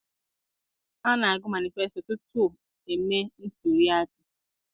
A na-agụ manisfesito tutu e mee ntuliaka.